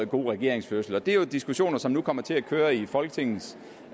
god regeringsførelse det er jo diskussioner som nu kommer til at køre i folketingets